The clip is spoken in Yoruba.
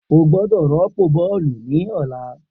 O gbọdọ rọpo bọọlu ni ọla!